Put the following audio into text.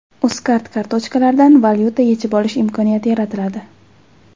Uzcard kartochkalaridan valyuta yechib olish imkoniyati yaratiladi.